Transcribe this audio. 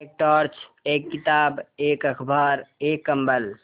एक टॉर्च एक किताब एक अखबार एक कम्बल